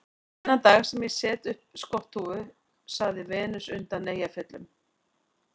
Þann dag sem ég set upp skotthúfu, sagði Venus undan Eyjafjöllum